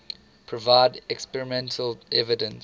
provide experimental evidence